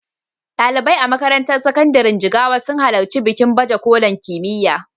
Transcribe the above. Ɗalibai a makarantar sakandiren Jigawa sun halarci bikin baje kolin kimiyya.